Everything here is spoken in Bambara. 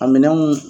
A minɛnw